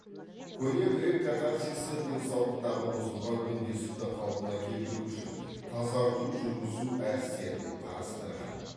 көне грек катарсисті денсаулықтағы бұзылған үндестікті қалпына келтіру үшін тазарту жүргізу әдістері деп қарастырған